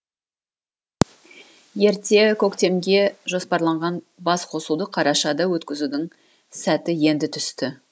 ерте көктемге жоспарланған басқосуды қарашада өткізудің сәті енді түсті